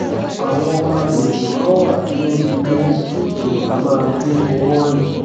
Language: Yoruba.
àwọn agbègbè kan wà tí ó ti léwu kí ènìyàn máa gbé owó rìn